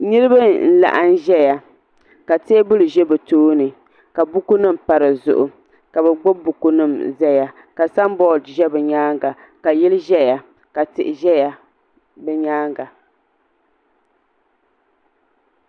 Niriba n laɣim zaya ka teebuli ʒɛ bɛ tooni ka buku nima pa dizuɣu ka bɛ gbibi bukunima zaya ka samboori za bɛ nyaanga ka yili ʒɛya ka tihi ʒɛya bɛ nyaanga.